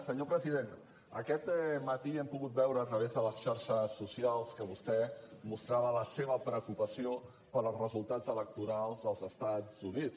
senyor president aquest matí hem pogut veure a través de les xarxes socials que vostè mostrava la seva preocupació pels resultats electorals dels estats units